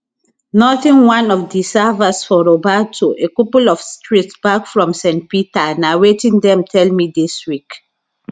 nothing one of di servers for roberto a couple of streets back from st peter na wetin dem tell me dis week